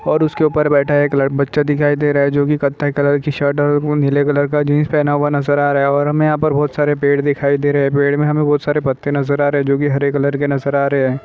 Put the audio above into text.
और उसके ऊपर बैठा एक लड़का बच्चा दिखाई दे रहा है जो की कथाएं कलर की शर्ट नीले कलर का जींस पहना हुआ नजर आ रहा है और हमें यहाँ पर बहुत सारे पेड़ दिखाई दे रहे हैं पेड़ में हमें बहुत सारे पत्ते नजर आ रहे जो कि हरे कलर के नजर आ रहे है।